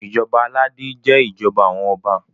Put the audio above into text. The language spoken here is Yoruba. ìjọba aládé jé ìjọba àwọn ọba